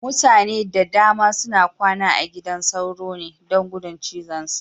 Mutane da dama suna kwana a gidan sauro ne, don gudun cizonsa.